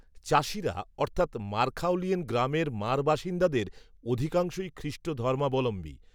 চাষিরা অর্থাত্, মারখাওলিয়েন গ্রামের মার বাসিন্দাদের অধিকাংশই. খ্রিষ্টধর্মাবলম্বী